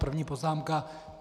První poznámka.